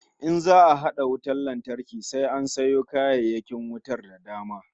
In za'a hada wutar lantarki sai an sayo kayayyakin wutar da dama